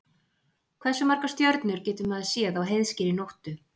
Hversu margar stjörnur getur maður séð á heiðskírri nóttu?